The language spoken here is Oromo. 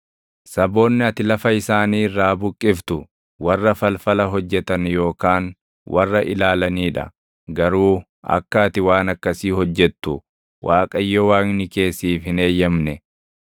Saboonni ati lafa isaanii irraa buqqiftu warra falfala hojjetan yookaan warra ilaalanii dha. Garuu akka ati waan akkasii hojjettu Waaqayyo Waaqni kee siif hin eeyyamamne.